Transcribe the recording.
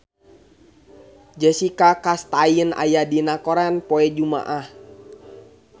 Jessica Chastain aya dina koran poe Jumaah